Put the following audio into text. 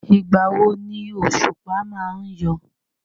Ìgbà wo ni òṣùpá má ń yọ?